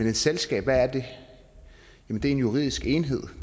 et selskab det er en juridisk enhed